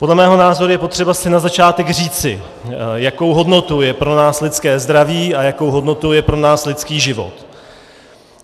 Podle mého názoru je potřeba si na začátek říci, jakou hodnotou je pro nás lidské zdraví a jakou hodnotou je pro nás lidský život.